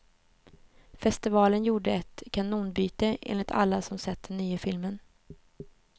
Festivalen gjorde ett kanonbyte, enligt alla som sett den nya filmen.